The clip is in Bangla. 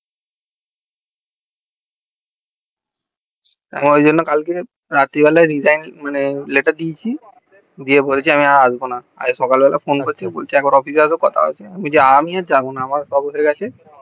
ওই জন্য কালকে রাত্রে বেলায় resign মানে letter দিয়েছি আর দিয়ে বলেছি আমি আর আসবোনা আজ সকালবেলা ফোন করছে বললো অফিস এ আসো কথা আছে বলেছি আমি আর যাবো না আমার আছে